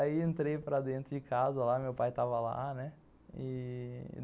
Aí entrei para dentro de casa lá, meu pai estava lá, né.